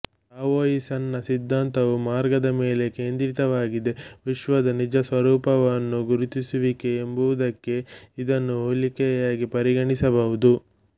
ಟಾವೋಯಿಸಂನ ಸಿದ್ಧಾಂತವು ಮಾರ್ಗದ ಮೇಲೆ ಕೇಂದ್ರಿತವಾಗಿದೆ ವಿಶ್ವದ ನಿಜ ಸ್ವರೂಪವನ್ನು ಗುರುತಿಸುವಿಕೆ ಎಂಬುದಕ್ಕೆ ಇದನ್ನು ಹೋಲಿಕೆಯಾಗಿ ಪರಿಗಣಿಸಬಹುದು